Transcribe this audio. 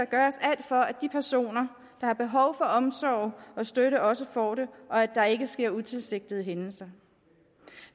gøres alt for at de personer der har behov for omsorg og støtte også får det og at der ikke sker utilsigtede hændelser